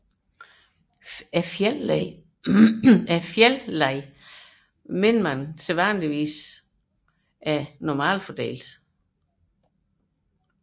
Fejlleddet antages sædvanligvis at være normalfordelt